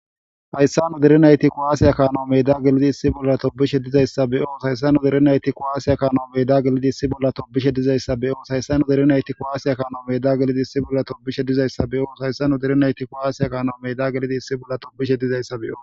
Hayssa nu dere nayti kowaasiya kaano medda gelidi issi bolla toobishe dizayssa be7oos hayssa nu derenayti kowaasiya kaano meda gelidi issi bolla toobishe dizayssa beyoos hayssa nu derinayti kowaasiya kaano meda gelidi issi bolla toobishe dizayssa beyoos hayssa nu derenayti kowaasiya kaano meda gelidi issi bolla toobishe dizayssa be7oo.